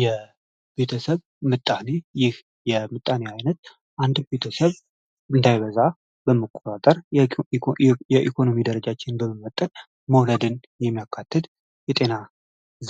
የቤተሰብ ምጣኔ ይህ የምጣኔ አይነት አንድ ቤተሰብ እንዳይበዛ በመቆጣጠር የኢኮኖሚ ደረጃች በመመጠን መውለድን የሚያካትድ የጤና